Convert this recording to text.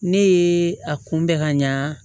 Ne ye a kunbɛn ka ɲa